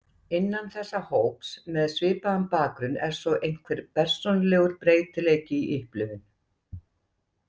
Innan þessa hóps með svipaðan bakgrunn er svo einhver persónulegur breytileiki í upplifun.